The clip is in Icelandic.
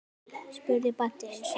spurði Baddi einu sinni.